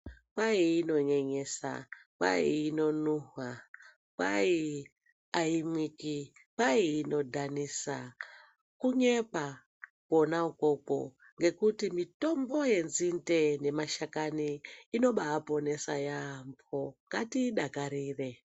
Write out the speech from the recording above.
Kwati inonyenyesa ,kwai inonuhwa, kwai aimwiki, kwai inodhanisa, kunyepa kwona ukoko ngekuti mitombo yenzinde nemashakani inobaaponesa yaampho, ngatiidakarire.